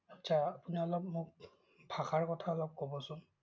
আটছা, আপুনি অলপ মোক ভাষাৰ কথা অলপ ক'বচোন।